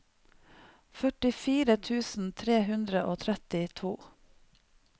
førtifire tusen tre hundre og trettito